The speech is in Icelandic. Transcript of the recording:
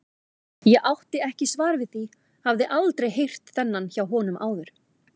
Ég átti ekki svar við því, hafði aldrei heyrt þennan hjá honum áður.